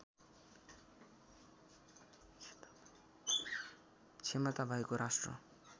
क्षमता भएको राष्ट्र